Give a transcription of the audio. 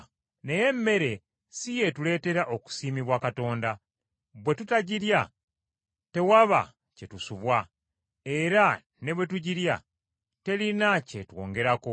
Naye emmere si yeetuleetera okusiimibwa Katonda. Bwe tutagirya tewaba kye tusubwa, era ne bwe tugirya terina kye twongerako.